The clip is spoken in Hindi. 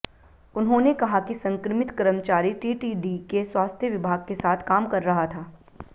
उन्होंने कहा कि संक्रमित कर्मचारी टीटीडी के स्वास्थ्य विभाग के साथ काम कर रहा था